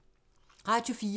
Radio 4